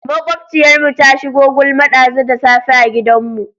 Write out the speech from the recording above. Maƙwabciyarmu ta shigo gulma ɗazu da safe a gidanmu.